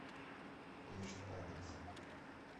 фишт адрес